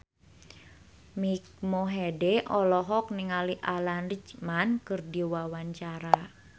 Mike Mohede olohok ningali Alan Rickman keur diwawancara